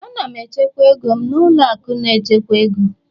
Ana m echekwa ego m na ụlọ akụ na-echekwa ego